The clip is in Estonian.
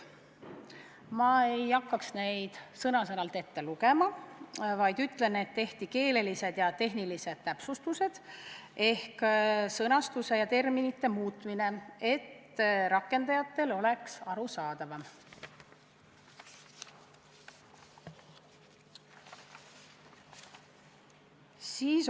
Ma ei hakka neid sõna-sõnalt ette lugema, vaid ütlen, et tehti keelelised ja tehnilised täpsustused ehk muudeti sõnastust ja termineid, et rakendajatele oleks seadus arusaadavam.